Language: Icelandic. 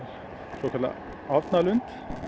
svokallaðan